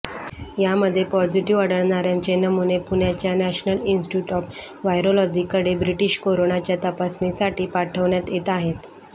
यामध्ये पॉझिटिव्ह आढळणार्यांचे नमुने पुण्याच्या नॅशनल इन्स्टिट्युट ऑफ व्हायरोलॉजीकडे ब्रिटिश कोरोनाच्या तपासणीसाठी पाठवण्यात येत आहेत